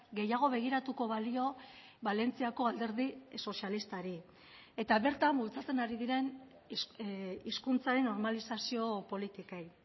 gehiago begiratuko balio valentziako alderdi sozialistari eta bertan bultzatzen ari diren hizkuntzaren normalizazio politikei